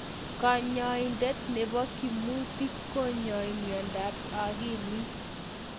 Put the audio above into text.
Kanyaindet nebo kimutit konyai miondap akilit